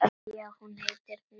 Já, hún heitir Hneta.